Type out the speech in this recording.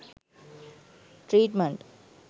treatment